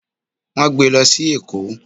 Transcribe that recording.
Won gbe e lo si Eko.